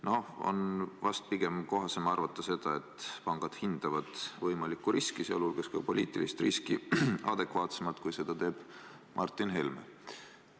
No pigem on vist kohasem arvata, et pangad hindavad võimalikku riski, sh poliitilist riski, adekvaatsemalt kui Martin Helme.